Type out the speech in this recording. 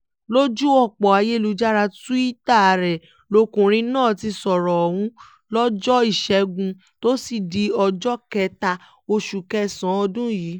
lójú ọ̀pọ̀ ayélujára túìta rẹ̀ lọkùnrin náà ti sọ̀rọ̀ ọ̀hún lọ́jọ́ ìṣẹ́gun túṣídéé ọjọ́ kẹta oṣù kẹsàn-án ọdún yìí